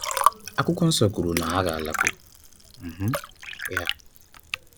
Akwukwo nsọ kwuru na ha ga alakwuru um ya.